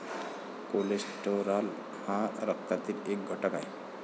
Cholesterol हा रक्तातील एक घटक आहे.